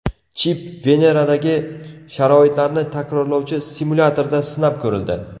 Chip Veneradagi sharoitlarni takrorlovchi simulyatorda sinab ko‘rildi.